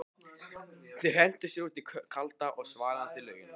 Þeir hentu sér út í kalda og svalandi laugina.